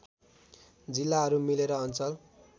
जिल्लाहरू मिलेर अञ्चल